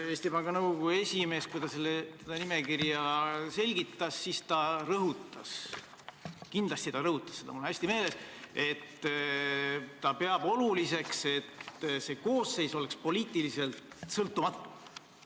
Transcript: Kui Eesti Panga Nõukogu esimees seda nimekirja selgitas, siis ta rõhutas – kindlasti ta rõhutas seda, mul on hästi meeles –, et ta peab oluliseks, et see koosseis oleks poliitiliselt sõltumatu.